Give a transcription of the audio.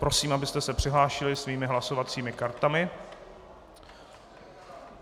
Prosím, abyste se přihlásili svými hlasovacími kartami.